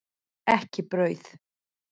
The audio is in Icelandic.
Ekki brauð.